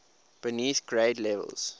beneath grade levels